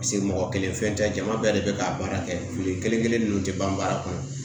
mɔgɔ kelen fɛn tɛ jama bɛɛ de bɛ k'a baara kɛli kelen kelen ninnu tɛ ban baara kɔnɔ